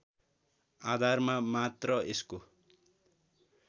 आधारमा मात्र यसको